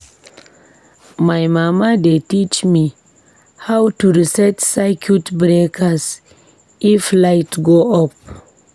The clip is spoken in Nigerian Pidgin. My mama dey teach me how to reset circuit breakers if light go off.